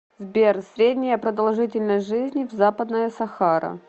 сбер средняя продолжительность жизни в западная сахара